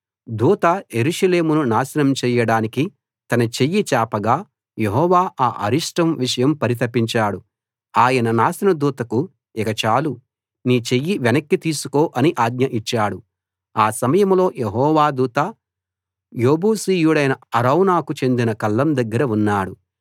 దూత యెరూషలేమును నాశనం చెయ్యడానికి తన చెయ్యి చాపగా యెహోవా ఆ అరిష్టం విషయం పరితపించాడు ఆయన నాశన దూతకు ఇక చాలు నీ చెయ్యి వెనక్కి తీసుకో అని ఆజ్ఞ ఇచ్చాడు ఆ సమయంలో యెహోవా దూత యెబూసీయుడైన అరౌనాకు చెందిన కళ్ళం దగ్గర ఉన్నాడు